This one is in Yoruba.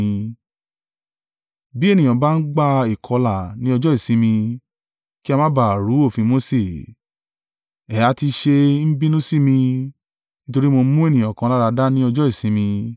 Bí ènìyàn bá ń gba ìkọlà ní ọjọ́ ìsinmi, kí a má ba à rú òfin Mose, ẹ ha ti ṣe ń bínú sí mi, nítorí mo mú ènìyàn kan láradá ní ọjọ́ ìsinmi?